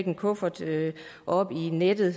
en kuffert oppe i nettet